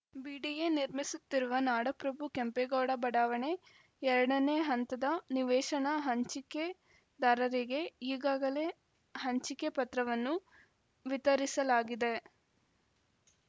BDA ನಿರ್ಮಿಸುತ್ತಿರುವ ನಾಡಪ್ರಭು ಕೆಂಪೇಗೌಡ ಬಡಾವಣೆ ಎರಡನೇ ಹಂತದ ನಿವೇಶನ ಹಂಚಿಕೆದಾರರಿಗೆ ಈಗಾಗಲೇ ಹಂಚಿಕೆ ಪತ್ರವನ್ನು ವಿತರಿಸಲಾಗಿದೆ